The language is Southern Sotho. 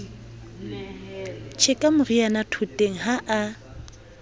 tjheka moriana thoteng ha a